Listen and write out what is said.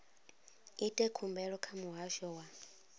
ite khumbelo kha muhasho wa